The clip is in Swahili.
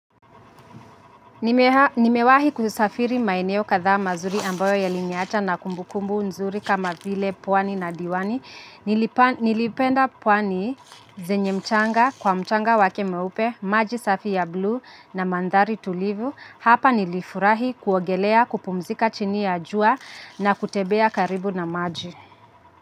Nimewahi kusafiri maeneo kadhda mazuri ambayo yaliniacha na kumbukumbu nzuri kama vile pwani na diwani. Nilipenda pwani zenye mchanga kwa mchanga wake mweupe, maji safi ya blue na mandhari tulivu. Hapa nilifurahi kuogelea kupumzika chini ya jua na kutembea karibu na maji.